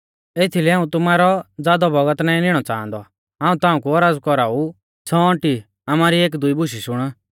एथीलै हाऊं तुमारौ ज़ादौ बौगत नाईं निणौ च़ाहंदौ हाऊं ताऊं कु औरज़ कौराऊ छ़ौंअटी आमारी एकदुई बुशै शुण